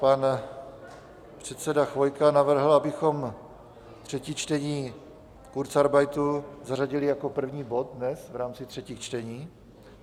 Pan předseda Chvojka navrhl, abychom třetí čtení kurzarbeitu zařadili jako první bod dnes v rámci třetích čtení.